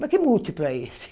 Mas que múltiplo é esse?